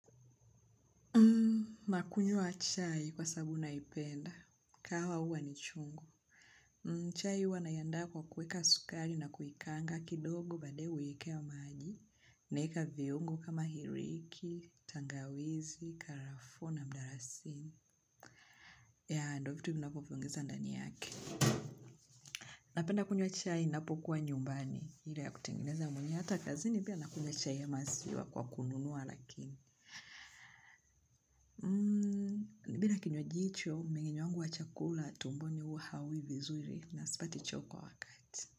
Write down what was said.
Nakungwa chai kwa sabu naipenda. Kahawa huwa ni chungu. Chai huwa naiandaa kwa kuweka sukari na kuikanga kidogo badaye uekewa maaji. Naeka viungo kama hiriki, tangawizi, karafuu na mdarasini. Ya ndo vitu ninavyoviongeza ndani yake. Napenda kunywa chai ninapokuwa nyumbani. Ile ya kutengeneza mwenye hata kazini pia nakunywa chai ya maziwa kwa kununua lakini. Mmmh bila kinywaji hicho, mchanganyo wangu wa chakula tumboni huwa haui vizuri na sipati hicho kwa wakati.